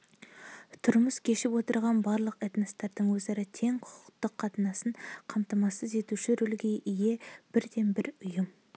тұрмыс кешіп отырған барлық этностардың өзара тең құқықты қатынасын қамтамасыз етуші рөлге ие бірден-бір ұйым